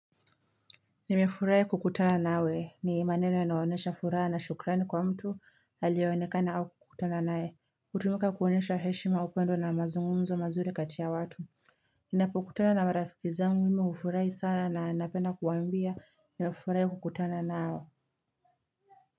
Nimefurahi kukutana nawe ni maneno inayonesha furaha na shukrani kwa mtu alio onekana au kukutana nae Utumika kuonesha heshima upendo na mazungumzo mazuri kati ya watu Ninapokutana na marafiki zangu ime hufurahi sana na napenda kuwambia nafurai kukutana nao.